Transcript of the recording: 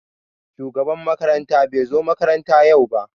Shugaban makaranta bai zo makaranta yau ba.